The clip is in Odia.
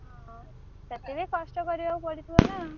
ହଁ ତତେ ବି କଷ୍ଟ କରିଆକୁ ପଡ଼ିଥିବ ନା।